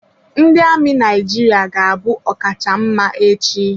Ndị amị Naijiria ga-abụ ọkacha mma echi.